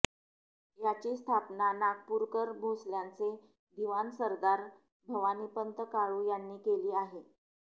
याची स्थापना नागपूरकर भोसल्याचे दिवाण सरदार भवानीपंत काळू यांनी केली आहे